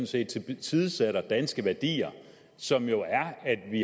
set tilsidesætter danske værdier som jo er at vi